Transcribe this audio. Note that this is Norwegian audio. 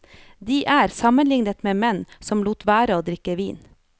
De er sammenlignet med menn som lot være å drikke vin.